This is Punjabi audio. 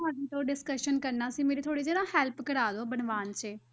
ਤੁਹਾਡੇ ਤੋਂ discussion ਕਰਨਾ ਸੀ, ਮੇਰੀ ਥੋੜ੍ਹੀ ਜਿਹੀ ਨਾ help ਕਰਵਾ ਦਿਓ ਬਣਵਾਉਣ 'ਚ।